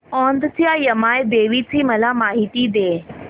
औंधच्या यमाई देवीची मला माहिती दे